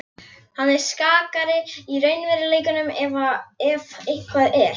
Hann er skakkari í raunveruleikanum ef eitthvað er.